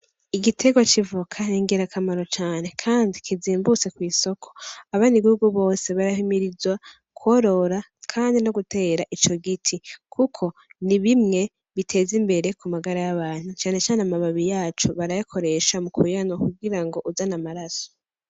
Igitegwa c' ivoka ni ngirakamaro cane kandi kizimbutse kw' isoko abaribo bose barahimirizwa kworora kandi no gutera ico giti ni bimwe biteza imbere kumagara y' abantu canecane amababi yacu barayakoresha mukuyanwa kugira ngo uzane amaraso.